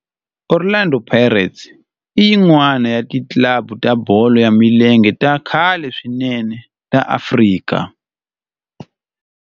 Orlando Pirates i yin'wana ya ti club ta bolo ya milenge ta khale swinene ta Afrika.